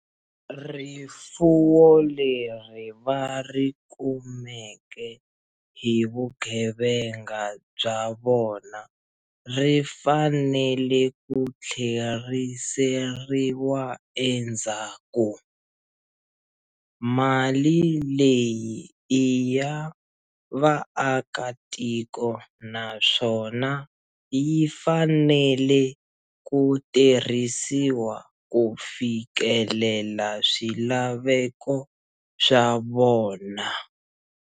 Rifuwo leri va ri kumeke hi vugevenga bya vona ri fanele ku tlheriseriwa endzhaku. Mali leyi i ya vaakatiko naswona yi fanele ku tirhisiwa ku fikelela swilaveko swa vona.